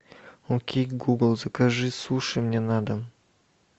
окей гугл закажи суши мне на дом